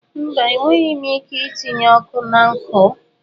Mba, enweghị m ike itinye ọkụ na nkụ.